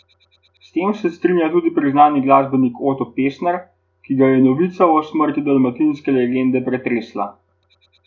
S tem se strinja tudi priznani glasbenik Oto Pestner, ki ga je novica o smrti dalmatinske legende pretresla.